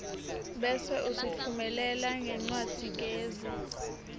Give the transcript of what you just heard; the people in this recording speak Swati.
bese usitfumelela ngencwadzigezi